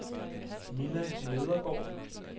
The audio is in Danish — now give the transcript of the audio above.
Minna Nedergaard